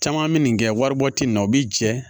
Caman bɛ nin kɛ waribɔ tɛ na o bɛ jɛ